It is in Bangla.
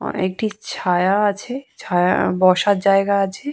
একটি ছায়া আছে ছায়া বসার জায়গা আছে।